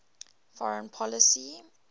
foreign policy